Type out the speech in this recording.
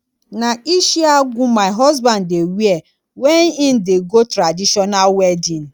na ishiagu my husband dey wear wen im dey go traditional wedding